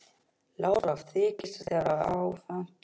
LÁRUS: Hvað þykist þér hafa afhent mér?